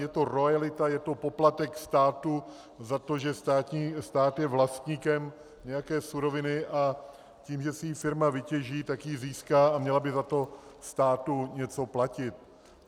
Je to roajalita, je to poplatek státu za to, že stát je vlastníkem nějaké suroviny a tím, že si ji firma vytěží, tak ji získá a měla by za to státu něco platit.